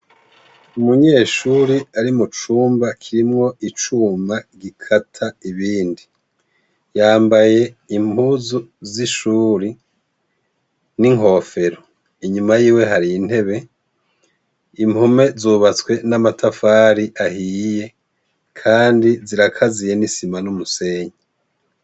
Umunyeshure ari mucumba kirimwo icuma gikata ibindi, yambaye impuzu z'ishuri n'inkofero, inyuma yiwe hari intebe, impome zubatswe n'amatafari ahiye kandi zirakaziye n'isima n'umusenyi.